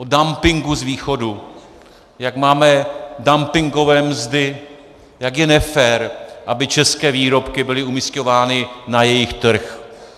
O dumpingu z východu, jak máme dumpingové mzdy, jak je nefér, aby české výrobky byly umisťovány na jejich trh.